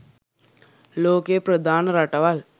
ලෝකයේ ප්‍රධාන රටවල්